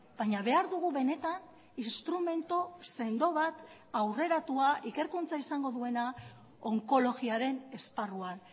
baina behar dugu benetan instrumentu sendo bat aurreratua ikerkuntza izango duena onkologiaren esparruan